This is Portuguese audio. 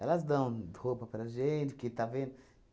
Elas dão roupa para gente, porque está vendo